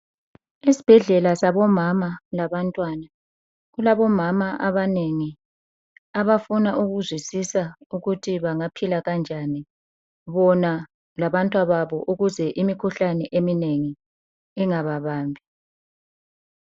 Esibhedlela sabomama labantwana kulabomama abanengi abafuna ukuzwisisa ukuthi bangaphila kanjani bona labantwababo ukuze imkhuhlane eminengi ingababambi.